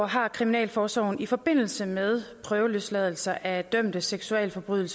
har kriminalforsorgen i forbindelse med prøveløsladelse af dømte seksualforbrydere